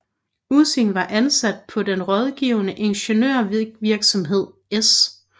Ussing var ansat i den rådgivende ingeniørvirksomhed S